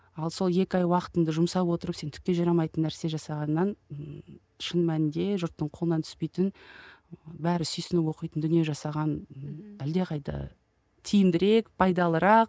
ал сол екі ай уақытыңды жұмсап отырып сен түкке жарамайтын нәрсе жасағаннан ммм шын мәнінде жұрттың қолынан түспейтін бәрі сүйсініп оқитын дүние жасаған әлдеқайда тиімдірек пайдалырақ